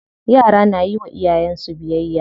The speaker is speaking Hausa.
Yara na yiwa iyayen su biyayya.